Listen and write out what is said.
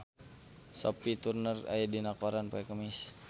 Sophie Turner aya dina koran poe Kemis